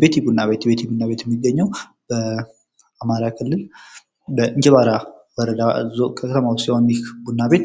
ቤት ቡና ቤት : ቤት ቡና ቤት የሚገኘው በአማራ ክልል በእንጅባራ ከተማ ሲሆን ይህ ቡና ቤት